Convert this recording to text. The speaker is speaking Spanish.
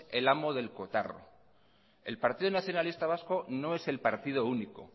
el amo del cotarro el partido nacionalista vasco no es el partido único